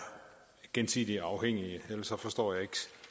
gensidigt afhængige ellers forstår jeg ikke